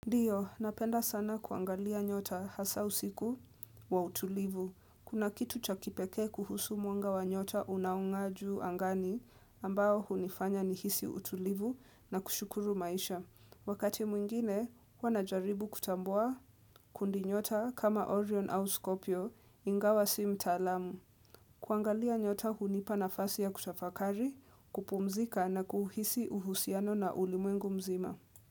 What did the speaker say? Ndio, napenda sana kuangalia nyota hasa usiku wa utulivu. Kuna kitu cha kipekee kuhusu mwanga wa nyota unaongaa juu angani ambao hunifanya nihisi utulivu na kushukuru maisha. Wakati mwingine, huwa najaribu kutambua kundi nyota kama Orion au Skopio ingawa si mtaalamu. Kuangalia nyota hunipa nafasi ya kutafakari, kupumzika na kuhisi uhusiano na ulimwengu mzima.